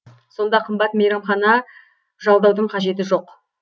сонда қымбат мейрамхана жалдаудың қажеті жоқ